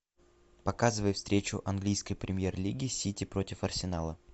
показывай встречу английской премьер лиги сити против арсенала